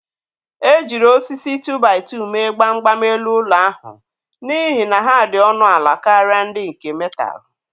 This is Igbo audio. E jiri osisi 2-by-2 mee gbam gbam elu ụlọ ahụ n'ihi na ha dị ọnụ ala karịa ndị nke metalụ.